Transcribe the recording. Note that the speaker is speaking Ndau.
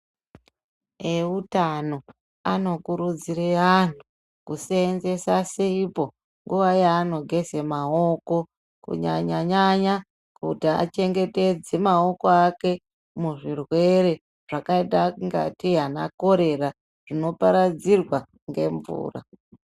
Eutano anokurudzire antu kusenzesa sipo nguva yaanogeze maoko. Kunyanya-nyanya kuti achengetedze maoko ake muzvirwere zvakaita kungete anakorera zvinoparedzirwa ngemvura.